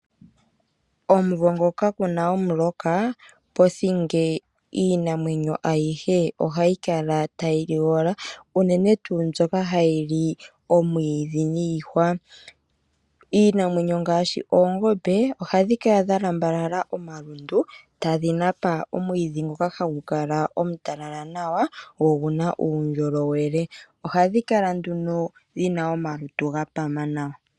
Omumvo ngoka kuna omuloka pothinge iinamwenyo ayihe ohayi kala tayi ligola uunene tuu mbyoka hayi li omwiidhi niihwa. Iinamwenyo ngaashi oongombe ohadhi kala dha lambalala omalundu tadhi Napa omwiidhi ngoka hagu kala omutalala nawa go oguna uundjolowele, ohadhi kala nduno dhina omalutu ga pama nawa.